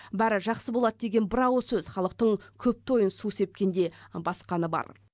бәрі жақсы болады деген бір ауыз сөз халықтың күпті ойын су сепкендей басқаны бар